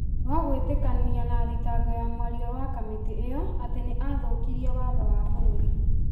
rwa gwĩtĩkania na thitango ya mwaria wa kamĩtĩ ĩyo atĩ nĩ athũkirie Watho wa bũrũri.